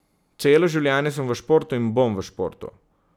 Celo življenje sem v športu in bom v športu.